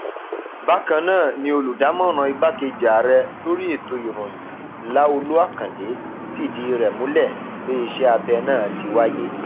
bákan náà ni olùdámọràn igbákejì ààrẹ lórí ètò ìròyìn láolú àkàndé fìdí rẹ múlẹ pé iṣẹ abẹ náà ti wáyé